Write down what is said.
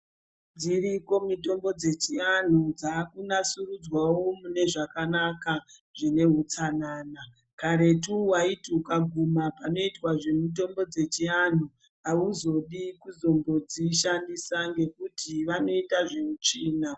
Dziriko mitombo dzechianhu, dzakunasurudzwao munezvakanaka zvineutsanana, karetu waiti ukaguma panoitwe zvemitombo yechianhu hauzodi kuzombo dzishandisa nekuti vanoita zveutsvina.